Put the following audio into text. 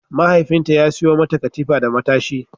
Mahaifinta ya sayo mata katifa da matashi.